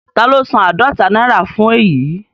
Taló san àádọta náírà fún èyí?